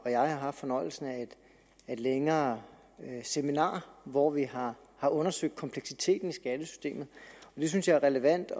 og jeg har haft fornøjelsen af et længere seminar hvor vi har har undersøgt kompleksiteten i skattesystemet og det synes jeg er relevant